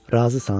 Razısan?